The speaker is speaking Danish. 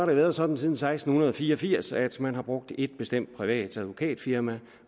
været sådan siden seksten fire og firs at man har brugt et bestemt privat advokatfirma